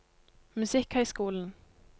musikkhøyskolen